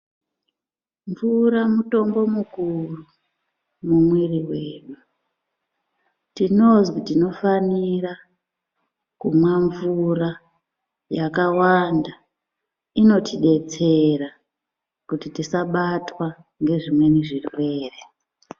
Mvura mutombo mukuru mumwiri wedu, tinofanira kumwa mvura yakawanda inotidetsera kuti tisabatwa ngezvimweni zvirwere.